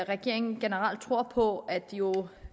regeringen generelt tror på at jo